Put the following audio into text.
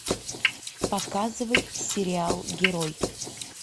показывай сериал герой